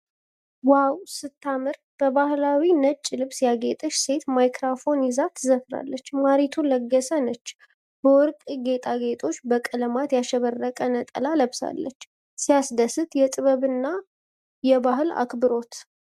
ዋው ስታምር ! በባህላዊ ነጭ ልብስ ያጌጠች ሴት ማይክሮፎን ይዛ ትዘፍናለች። ማሪቱ ለገሰ ነች ። በወርቅ ጌጣጌጦችና በቀለማት ያሸበረቀ ነጠላ ለብሳለች። ሲያስደስት! የጥበብና የባህል አክብሮት!